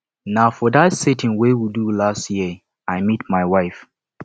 na for dat sitin we do last year i meet my wife